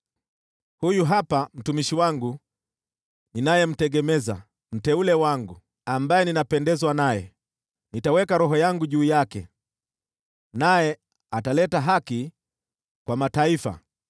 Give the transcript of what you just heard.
“Huyu hapa mtumishi wangu, ninayemtegemeza, mteule wangu, ambaye ninapendezwa naye; nitaweka Roho yangu juu yake, naye ataleta haki kwa mataifa.